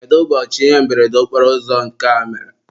kedu ụbọchị ihe mberede okporoụzọ nke a mere?